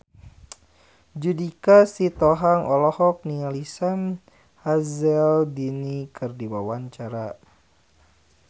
Judika Sitohang olohok ningali Sam Hazeldine keur diwawancara